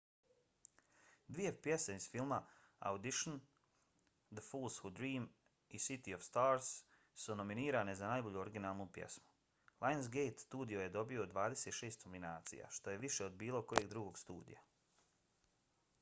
dvije pjesme iz filma audition the fools who dream i city of stars su nominirane za najbolju originalnu pjesmu. lionsgate studio je dobio 26 nominacija što je više od bilo kojeg drugog studija